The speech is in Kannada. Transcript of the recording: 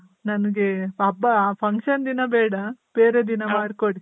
ನನ್ಗೆ ಹಬ್ಬ function ದಿನ ಬೇಡ ಬೇರೆ ದಿನ ಮಾಡ್ಕೊಡಿ.